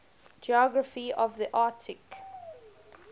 geography of the arctic